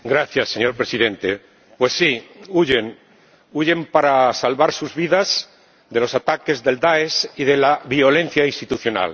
Señor Presidente, pues sí, huyen, huyen para salvar sus vidas de los ataques de Daesh y de la violencia institucional.